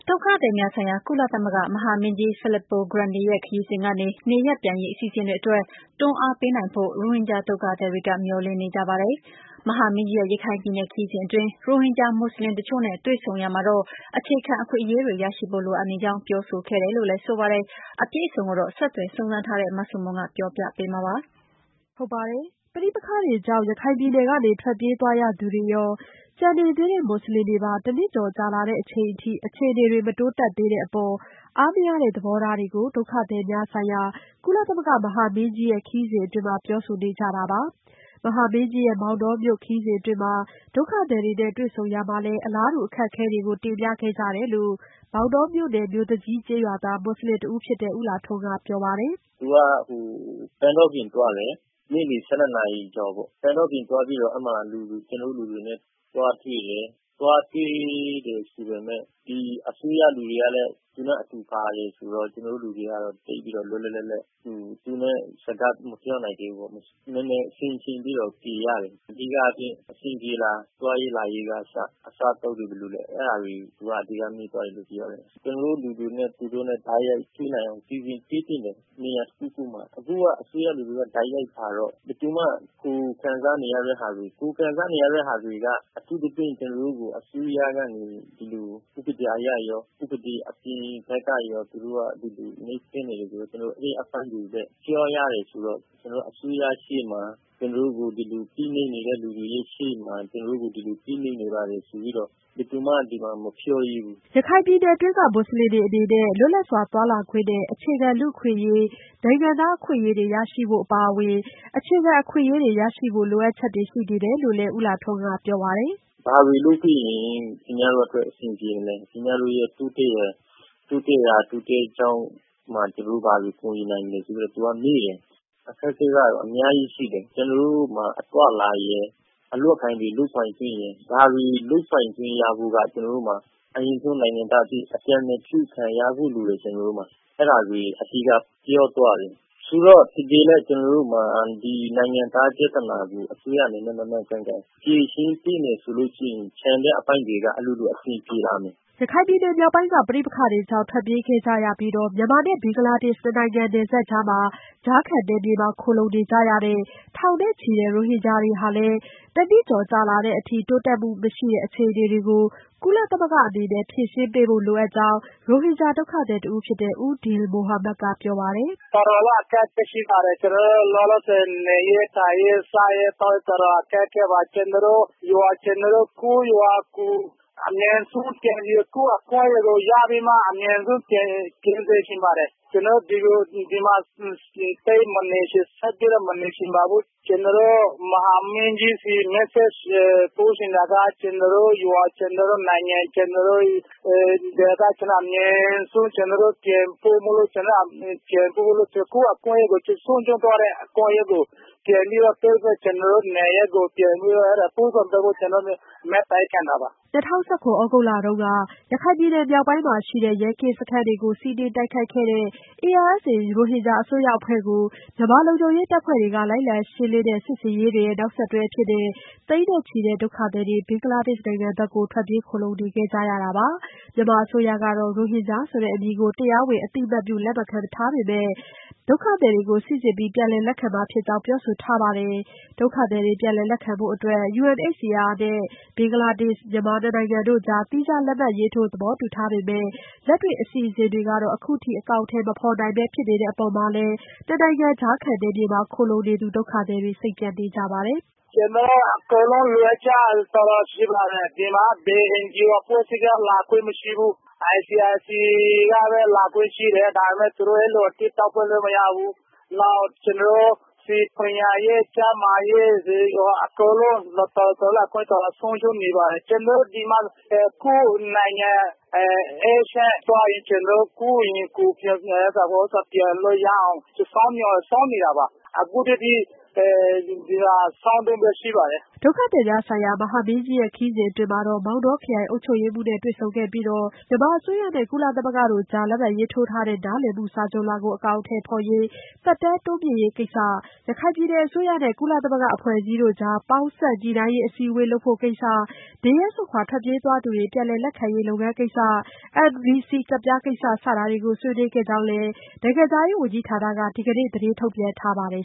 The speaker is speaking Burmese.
ဒုက္ခသည်များဆိုင်ရာ ကုလသမဂ္ဂ မဟာမင်းကြီး Filippo Grandi ရဲ့ ခရီးစဉ်ကနေ နေရပ်ပြန်ရေး အစီအစဉ်တွေအတွက် တွန်းအားပေးနိုင်ဖို့ ရိုဟင်ဂျာ ဒုက္ခသည်တွေက မျှော်လင့်နေကြပါတယ်။ မဟာမင်းကြီးရဲ့ ရခိုင်ပြည်နယ် ခရီးစဉ်အတွင်း ရိုဟင်ဂျာ မူဆလင်တချို့နဲ့ တွေ့ဆုံရာမှာတော့ အခြေခံအခွင့်အရေးတွေ ရရှိဖို့လိုအပ်နေကြောင်း ပြောဆိုခဲ့တယ်လို့လည်း ဆိုပါတယ်။ အပြည့်အစုံကိုတော့ ဆက်သွယ်စုံစမ်းထားတဲ့ မဆုမွန်က ပြောပြပေးမှာပါ။ ပဋိပက္ခတွေကြောင့် ရခိုင်ပြည်နယ်ကနေ ထွက်ပြေးသွားရသူတွေရော၊ ကျန်နေသေးတဲ့ မူဆလင်တွေပါ တနှစ်ကျော်ကြာလာတဲ့ အချိန်အထိ အခြေအနေတွေ မတိုးတက်သေးတဲ့အပေါ် အားမရတဲ့ သဘောထားတွေကို ဒုက္ခသည်များဆိုင်ရာ ကုလသမဂ္ဂ မဟာမင်းကြီး ခရီးစဉ်မှာ ပြောဆိုနေကြတာပါ။ မဟာမင်းကြီးရဲ့ မောင်တောမြို့ခရီးစဉ်အတွင်း ဒုက္ခသည်တွေနဲ့ တွေ့ဆုံရာမှာလည်း အလားတူ အခက်အခဲတွေကို တင်ပြခဲ့ကြတယ်လို့လည်း မောင်တောမြို့နယ် မြို့သူကြီးကျေးရွာသား မူဆလင်တဦးဖြစ်တဲ့ ဦးလှထွန်းက ပြောပါတယ်။ “သူက ပန်းတောပြင်သွားတယ် နေ့လည် ၁၂ နာရီကျော်ပေါ့ ၊ ပန်းတောပြင်သွားပြီးတော့ ကျနော်တို့လူတွေနဲ့ သွားတွေ့တယ်။ သွားတွေ့တယ်ဆိုပေမယ့် အစိုးရလူတွေကလည်း သူနဲ့အတူပါတယ်ဆိုတော့ ကျနော်တို့လူတွေက သိပ်ပြီးတော့ လွတ်လွတ်လပ်လပ် စကားမပြောနိုင်သေးဘူးပေါ့ နည်းနည်းဆင်ချင်ပြီးတော့ဖြေရတယ်။ အဓိကက အဆင်ပြေလား သွားရေးလာရေးကအစ အစားအသောက်တွေဘယ်လိုလဲ အဲဒါတွေသူအဓိက မေးသွားတယ်။ ကျနော်တို့လူတွေနဲ့ သူတို့တိုက်ရိုက်တွေ့နိုင်အောင် စီစဉ်ပေးသင့်တယ်၊ နေရာတခုခုမှာ အခုက အစိုးရလူတွေက တိုက်ရိုက်လာတော့ ဘယ်သူမှ ကိုယ်ခံစားနေရတဲ့ဟာတွေက အထူးသဖြင့် ကျနော်တို့ကို အစိုးရကနေမှ ဒီလို ဥပဒေအရရော၊ ဥပဒေ အပြင်ဘက်ကရော သူတို့က နှိပ်စက်နေတယ်ဆိုတော့ အဲဒီအပိုင်းတွေလည်း ပြောရတယ်ဆိုတော့ ကျနော်တို့ အစိုးရရှေ့မှာ ကျနော်တို့ကို ဒီလို ဖိနှိပ်နေတဲ့ လူတွေရဲ့ရှေ့မှာ ကျနော်တို့ကို ဒီမှာ ဖိနှိပ်နေပါတယ်လို့ ဘယ်သူမှ မပြောရဲဘူး။” ရခိုင်ပြည်နယ်တွင်းက မူဆလင်တွေအနေနဲ့ လွတ်လပ်စွာသွားလာခွင့်နဲ့ အခြေခံလူ့အခွင့်အရေး နိုင်ငံသားအခွင့်အရေးတွေ ရရှိဖို့ အပါအဝင် အခြေခံအခွင့်အရေးတွေ ရရှိဖို့လိုအပ်ချကတွေ ရှိနေတယ်လို့လည်း ဦးလှထွန်းကပြောပါတယ်။ “ဘာတွေလုပ်ပေးရင် ခင်ဗျားတို့အတွက် အဆင်ပြေမလဲ ၊ ခင်ဗျားတို့ရဲ့ တိုးတက်ရာတိုးတက်ကြောင်းမှာ ကျနော်တို့ ဘာတွေကူညီနိုင်မလဲဆိုတာတွေသူက မေးတယ်။ အခက်အခဲကတော့ အများကြီးရှိတယ်။ ကျနော်တို့မှာ သွားလာရေးရယ် အလုပ်အကိုင်တွေလုပ်ကိုင်ခွင့်ရယ် ဒါတွေလုပ်ပိုင်ခွင့်ရဖို့က အရင်ဆုံးကျနော်တို့မှာ နိုင်ငံသားအဖြစ် အပြုခံရဖို့လိုတယ်။ အဲဒါတွေအဓိက ပြောသွားတယ်။ ဆိုတော့ ကျနော်တို့မှာ ဒီနိုင်ငံသားပြဿနာကို အစိုးရအနေနဲ့ မှန်မှန်ကန်ကန်ဖြေရှင်းပေးမယ်ဆိုရင် ကျန်တဲ့အပိုင်းတွေက အလိုလိုအဆင်ပြေလာနိုင်မယ်။” ရခိုင်ပြည်နယ် မြောက်ပိုင်းက ပဋိပက္ခတွေကြောင့် ထွက်ပြေးခဲ့ကြရပြီး မြန်မာနဲ့ ဘင်္ဂလားဒေ့ရှ် ၂ နိုင်ငံကြားက ကြားခံနယ်မြေမှာ ခိုလှုံနေကြရတဲ့ ထောင်နဲ့ချီတဲ့ ရိုဟင်ဂျာတွေဟာလည်း တနှစ်ကျော်ကြာလာတဲ့အထိ တိုးတက်မှုမရှိတဲ့ အခြေအနေတွေကို ကုလသမဂ္ဂအနေနဲ့ ဖြေရှင်းပေးဖို့ လိုအပ်နေကြောင်း ရိုဟင်ဂျာ ဒုက္ခသည်တဦးဖြစ်တဲ့ ဦးဒီလ်မူဟာမက်က ပြောပါတယ်။ “တော်တော်အခက်အခဲရှိပါတယ်။ ကျနော်တို့ လောလောဆည် နေရေးထိုင်ရေး စားရေးသောက်ရေး အခက်အခဲရှိတယ်။ ကျနော်တို့ ကိုယ့်ရွာကို အမြန်ဆုံးပြန်ပြီး ကိုယ့်အခွင့်အရေးကို ရပြီးမှ အမြန်ဆုံးပြန်စေချင်ပါတယ်။ ကျနော်တို့ဒီမှာ ဆက်ပြီးတော့ မနေချင်ပါဘူး။ ကျနော်တို့ မဟာမင်းကြီးဆီပြောချင်တာက ကျနော်တို့ ရွာ၊ ကျနော်တို့ ဒေသကို အမြန်ဆုံးပြန်ပို့ဖို့၊ ကိုယ့်ဆုံးရှုံးသွားတဲ့ အခွင့်အရေးကိုရပြီး ကျနော်တို့ နေရပ်ကိုပြန်ဖို့ ကျနော်တို့ မေတ္တာရပ်ခံတာပါ။” ၂၀၁၇ သြဂုတ်လတုန်းက ရခိုင်ပြည်နယ် မြောက်ပိုင်းမှာရှိတဲ့ ရဲကင်းစခန်းတွေကို စီးနင်းတိုက်ခိုက်ခဲ့တဲ့ ARSA ရိုဟင်ဂျာ အစွန်းရောက်အဖွဲ့ကို မြန်မာလုံခြုံရေးတပ်ဖွဲ့တွေ လိုက်လံရှင်းလင်းတဲ့ စစ်ဆင်ရေးတွေရဲ့ နောက်ဆက်တွဲအဖြစ် သိန်းနဲ့ချီတဲ့ ဒုက္ခသည်တွေ ဘင်္ဂလားဒေ့ရှ် နိုင်ငံကို ထွက်ပြေးခိုလှုံခဲ့ကြတာပါ။ မြန်မာအစိုးရကတော့ ရိုဟင်ဂျာဆိုတဲ့ အမည်ကို တရားဝင် အသိအမှတ်ပြု လက်ခံမထားပေမဲ့ ဒုက္ခသည်တွေကို စိစစ်ပြီး ပြန်လည် လက်ခံမှာဖြစ်ကြောင်း ပြောဆိုထားပါတယ်။ ဒုက္ခသည်တွေ ပြန်လည်လက်ခံဖို့အတွက် UNHCR ဘင်္ဂလားဒေ့ရှ် နိုင်ငံတို့နဲ့လည်း သီးခြားလက်မှတ်ရေးထိုး သဘောတူထားပေမဲ့ လက်တွေ့ အစီအစဉ်တွေကတော့ အခုအထိ အကောင်အထည် မဖော်နိုင်ပဲ ဖြစ်နေတဲ့ အပေါ်မှာလည်း ၂ နိုင်ငံ ကြားခံနယ်မြေက ဒုက္ခသည်တွေ စိတ်ပျက်နေကြပါတယ်။ “ကျနော်တို့ အကုန်လုံးလိုအပ်ချက်ကတော့ တော်တော်ရှိပါတယ်။ ဒီမှာက ဘယ်အဖွဲ့အစည်းကနေမှ လာခွင့်မရှိဘူး ICRC ကပဲ လာခွင့်ရှိတယ်။ နောက်ကျနော်တို့ ပညာရေး၊ ကျန်းမာရေး၊ အကုန်လုံး အခွင့်အရေးဆုံးရှုံးနေပါတယ်။ ကျနော်တို့ ဒီမှာ ကိုယ့်နိုင်ငံအေးချမ်းသွားရင် ကျနော်တို့ ကိုယ့်အိမ်ကိုပြန်လို့ရအောင် ကျနော်တို့ စောင့်နေတာပါ။ အခုအထိ စောင့်တုန်းပဲ ရှိပါတယ်။” ဒုက္ခသည်များဆိုင်ရာ မဟာမင်းကြီးရဲ့ ခရီးစဉ်အတွင်း မောင်တောခရိုင် အုပ်ချုပ်ရေးမှူးနဲ့တွေ့ဆုံပြီး မြန်မာအစိုးရနဲ့ ကုလသမဂ္ဂတို့ကြား လက်မှတ်ရေးထိုး ထားတဲ့ နားလည်မှုစာချွန်လွှာကို အကောင်အထည်ဖော်ရေးနဲ့ သက်တမ်းတိုးမြှင့်ရေးကိစ္စ၊ ရခိုင် ပြည်နယ်အစိုးရနဲ့ ကုလသမဂ္ဂ အဖွဲ့အစည်းတွေကြား ပေါင်းစပ်ညှိနှိုင်းရေး အစည်းအဝေး လုပ်ဖို့ကိစ္စ၊ နေရပ်စွန့် ထွက်ပြေးသွားသူတွေ ပြန်လည် လက်ခံရေး လုပ်ငန်းစဉ်ကိစ္စ၊ NVC ကဒ်ပြားကိစ္စ စတာတွေကို ဆွေးနွေးခဲ့ကြကြောင်းလည်း နိုင်ငံခြားရေး ဝန်ကြီးဌာနက ဒီကနေ့ သတင်းထုတ်ပြန်ထားပါတယ်